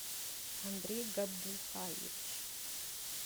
андрей габдулхаевич